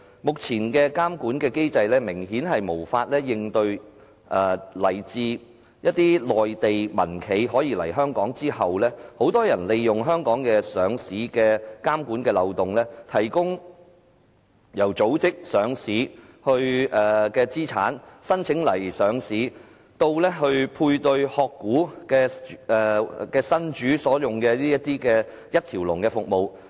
目前的監管機制明顯無法應對來自一些內地民企來港上市之後的一些問題，包括很多人利用香港上市的監管漏洞，提供由組織上市資產、申請上市到配對"殼股"新主所用的一條龍服務。